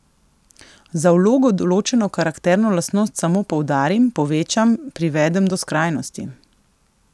Za vlogo določeno karakterno lastnost samo poudarim, povečam, privedem do skrajnosti.